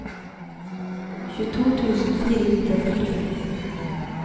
tjueto tusen fire hundre og førtifem